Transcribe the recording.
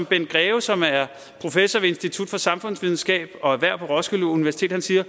bent greve som er professor ved institut for samfundsvidenskab og erhverv på roskilde universitet siger